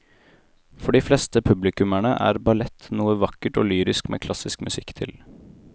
For de fleste publikummere er ballett noe vakkert og lyrisk med klassisk musikk til.